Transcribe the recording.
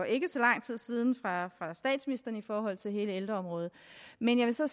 ikke så lang tid siden i forhold til hele ældreområdet men jeg vil så